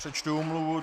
Přečtu omluvu.